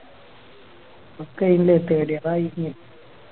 നമുക്കെന്ത് Third year ആയില്ലേ